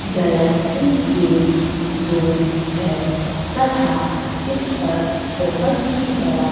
Galaxy game zone है तथा इस पर बहोत ही बड़ा--